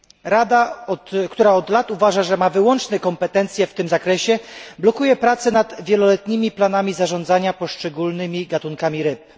Rada, która od lat uważa, że ma wyłączne kompetencje w tym zakresie, blokuje prace nad wieloletnimi planami zarządzania poszczególnymi gatunkami ryb.